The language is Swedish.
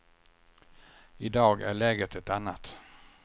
I dag är läget ett annat.